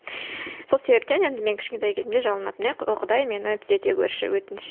сол себептен енді мен кішкентай кезімде жалынатынмын иә о құдай мені түзете көрші өтініш